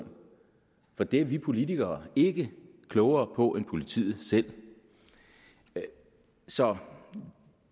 for det er vi politikere ikke klogere på end politiet selv så